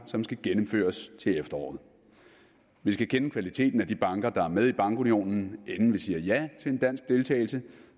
som skal gennemføres til efteråret vi skal kende kvaliteten af de banker der er med i bankunionen inden vi siger ja til dansk deltagelse